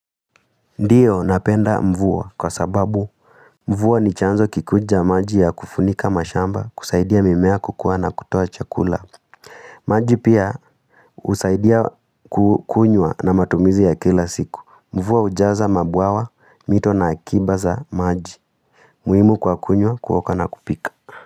Ndiyo napenda mvua kwa sababu mvua ni chanzo kikuu cha maji ya kufunika mashamba kusaidia mimea kukua na kutoa chakula maji pia husaidia kukunywa na matumizi ya kila siku mvua hujaza mabwawa mito na akiba za maji muhimu kwa kunywa kuoga na kupika.